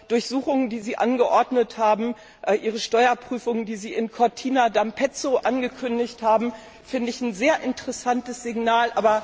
Die Durchsuchungen, die Sie angeordnet haben, die Steuerprüfungen, die Sie in Cortina d'Ampezzo angekündigt haben, sind ein sehr interessantes Signal.